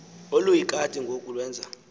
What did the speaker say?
oluyikati ngoku lwenza